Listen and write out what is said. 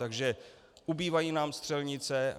Takže ubývají nám střelnice.